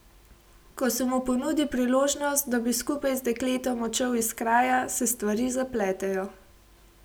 Ko se mu ponudi priložnost, da bi skupaj z dekletom odšel iz kraja, se stvari zapletejo.